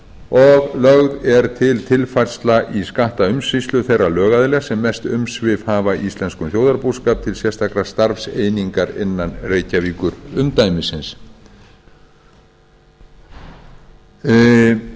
og lögð er til tilfærsla á skattaumsýslu þeirra lögaðila sem mest umsvif hafa í íslenskum þjóðarbúskap til sérstakrar starfseiningar innan reykjavíkurumdæmisins